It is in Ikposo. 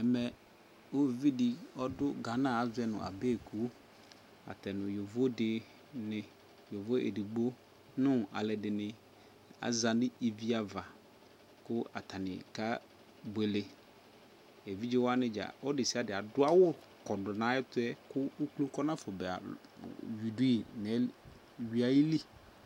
Mɛ uvidɩ ɔdʋ Ghana azɔ nʋ Adeŋku, ata nʋ yovodɩnɩ, yovo edigbo nʋ alʋɛdɩnɩ aza n'i iviava kʋ atanɩ ka buele Evidzewanɩ dza ɔlʋ desiade adʋawʋ kɔdʋ n'ayɛtʋɛ kʋ uklo kɔnafɔba yuidʋɩ n n'ay yuiayili